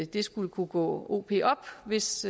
det skulle kunne gå o p op hvis